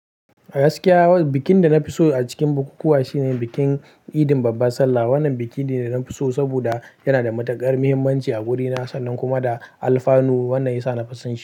A gaskiya, bikin da na fi so a cikin bukukuwa shine bikin Eidin Babban Sallah. Wannan biki ne da na fi so saboda yana da matukar muhimmanci a wurina sannan kuma da alfanu wannan yasa nafi son shi.